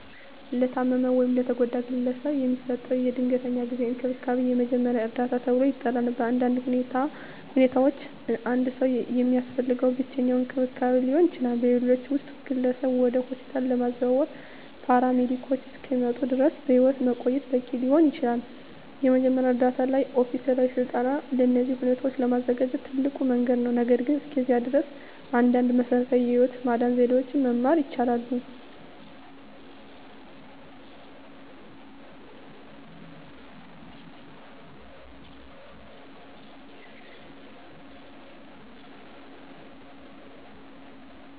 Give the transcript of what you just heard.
ለታመመ ወይም ለተጎዳ ግለሰብ የሚሰጠው የድንገተኛ ጊዜ እንክብካቤ የመጀመሪያ እርዳታ ተብሎ ይጠራል. በአንዳንድ ሁኔታዎች አንድ ሰው የሚያስፈልገው ብቸኛው እንክብካቤ ሊሆን ይችላል, በሌሎች ውስጥ, ግለሰቡን ወደ ሆስፒታል ለማዘዋወር ፓራሜዲኮች እስኪመጡ ድረስ በሕይወት ማቆየት በቂ ሊሆን ይችላል. የመጀመሪያ ዕርዳታ ላይ ኦፊሴላዊ ሥልጠና ለእነዚህ ሁኔታዎች ለመዘጋጀት ትልቁ መንገድ ነው, ነገር ግን እስከዚያ ድረስ, አንዳንድ መሰረታዊ የህይወት ማዳን ዘዴዎችን መማር ይችላሉ።